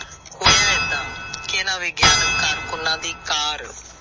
ਹੋਇਆ ਇਹਦਾ ਇਹਨਾਂ ਵਿਗਿਆਨਿਕ ਕਾਰਕੁਨਾਂ ਦੀ ਕਾਰ।